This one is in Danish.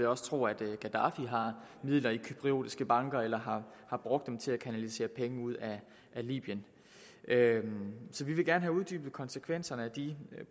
også tro at gaddafi har midler i cypriotiske banker eller har brugt dem til at kanalisere penge ud af libyen så vi vil gerne have uddybet konsekvenserne af de